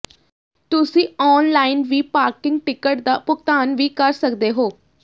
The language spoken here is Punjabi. ਤੁਸੀਂ ਆਨਲਾਈਨ ਵੀ ਪਾਰਕਿੰਗ ਟਿਕਟ ਦਾ ਭੁਗਤਾਨ ਵੀ ਕਰ ਸਕਦੇ ਹੋ